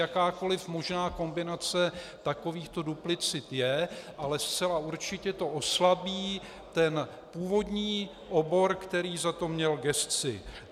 Jakákoliv možná kombinace takovýchto duplicit je, ale zcela určitě to oslabí původní obor, který za to měl gesci.